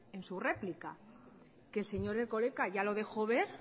en su réplica que el señor erkoreka ya lo dejó ver